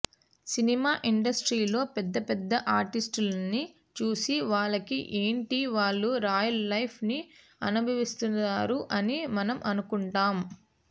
cinema ఇండస్ట్రీలో పెద్దపెద్ద ఆర్టిస్టులనీ చూసి వాళ్లకి ఏంటి వాళ్ళు రాయల్ లైఫ్ ని అనుభవిస్తారు అని మనం అనుకుంటాం